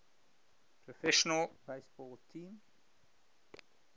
professional baseball team